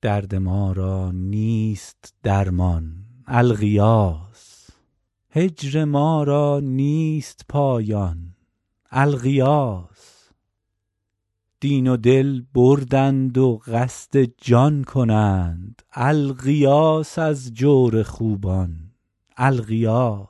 درد ما را نیست درمان الغیاث هجر ما را نیست پایان الغیاث دین و دل بردند و قصد جان کنند الغیاث از جور خوبان الغیاث